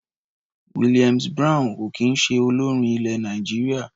Williams Brown ò kì í ṣe olórin ilẹ̀ Nàìjíríà.